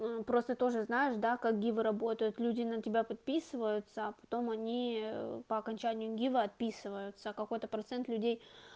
ну просто тоже знаешь да как гивы работают люди на тебя подписываются а потом они по окончанию гива отписываются какой-то процент людей